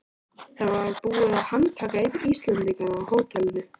Það var búið að handtaka einn Íslendinganna á hótelinu.